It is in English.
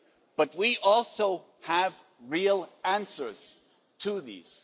But we also have real answers to these.